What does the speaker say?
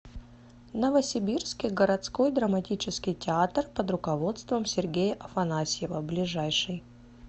новосибирский городской драматический театр под руководством сергея афанасьева ближайший